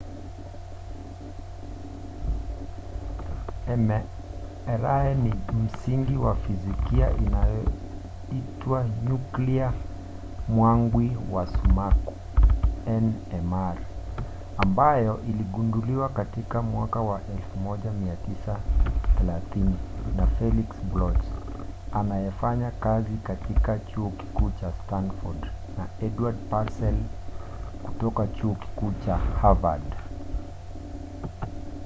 mri ni ya msingi wa fizikia inayoitwa nyuklia mwangwi wa sumaku nmr ambayo iligunduliwa katika 1930s na felix bloch anayefanya kazi katika chuo kikuu cha stanford na edward purcell kutoka chuo kikuu cha harvard